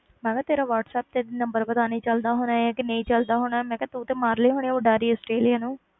ਮੈਂ ਕਿਹਾ ਤੇਰਾ ਵਾਟਸੈਪ ਤੇ number ਪਤਾ ਨੀ ਚੱਲਦਾ ਹੋਣਾ ਹੈ ਕਿ ਨਹੀਂ ਚੱਲਦਾ ਹੋਣਾ, ਮੈਂ ਕਿਹਾ ਤੂੰ ਤੇ ਮਾਰ ਲਈ ਹੋਣੀ ਆਂ ਉਡਾਰੀ ਆਸਟ੍ਰੇਲੀਆ ਨੂੰ।